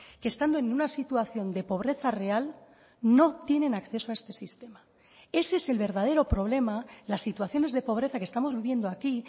que estando en una situación de pobreza real no tienen acceso a este sistema ese es el verdadero problema las situaciones de pobreza que estamos viviendo aquí